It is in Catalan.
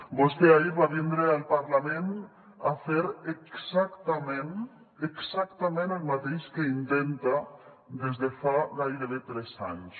vostè ahir va vindre al parlament a fer exactament exactament el mateix que intenta des de fa gairebé tres anys